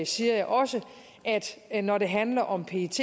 siger jeg også at når det handler om pets